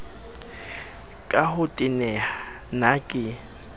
ka ho teneha na ke